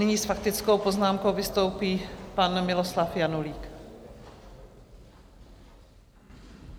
Nyní s faktickou poznámkou vystoupí pan Miloslav Janulík.